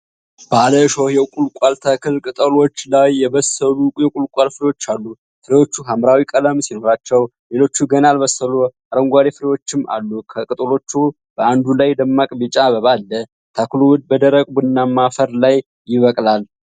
ባለ እሾህ የቁልቋል ተክል ቅጠሎች ላይ የበሰሉ የቁልቋል ፍሬዎች አሉ። ፍሬዎቹ ሐምራዊ ቀለም ሲኖራቸው ሌሎች ገና ያልበሰሉ አረንጓዴ ፍሬዎችም አሉ። ከቅጠሎቹ በአንዱ ላይ ደማቅ ቢጫ አበባ አለ። ተክሉ በደረቅ ቡናማ አፈር ላይ ይበቅላል።